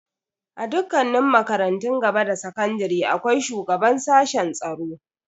A dukkanin makarantun gaba da sakandare akwai shugaban sashen tsaro.